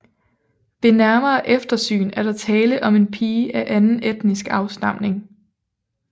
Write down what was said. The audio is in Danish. Ved nærmere eftersyn er der tale om en pige af anden etnisk afstamning